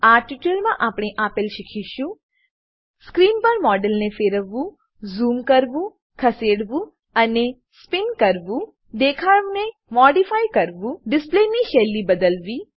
આ ટ્યુટોરીયલમાં આપણે આપેલ શીખીશું સ્ક્રીન પર મોડેલને ફેરવવું ઝૂમ કરવું ખસેડવું અને સ્પીન કરવું દેખાવને મોડીફાય કરવું ડિસ્પ્લેની શૈલી બદલવી